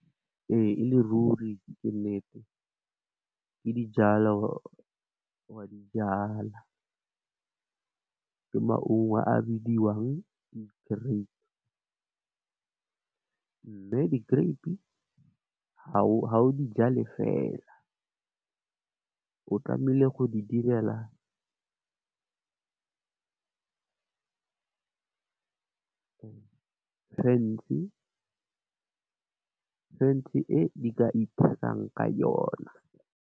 E e le ruri ke nnete, ke dijalo, wa dijala, ke maungo a bidiwang di grape . Mme, di grape ha o dijale fela o tlamehile go di direla fence, fence e e ka ithayang ka yona.